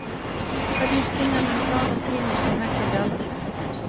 Hvernig skynja menn hraða tímans með hækkandi aldri?